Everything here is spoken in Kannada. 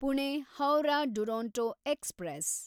ಪುಣೆ ಹೌರಾ ಡುರೊಂಟೊ ಎಕ್ಸ್‌ಪ್ರೆಸ್